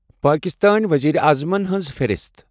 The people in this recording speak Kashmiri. پاکِستأنؠ ؤزیٖرِ اَعظَمَن ہٕنٛز فِہرِست